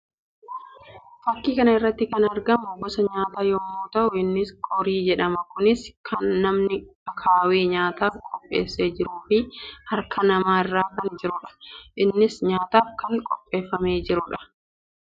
Fakkii kana irratti kan argamu gosa nyaataa yammuu ta'u innis qorii jedhama. Kunis kan namni akaawwee nyaataaf qopheessee jiruu fi harka namaa irra kan jiruudha. Innis nyaataaf kan qopheeffamee jiruudha.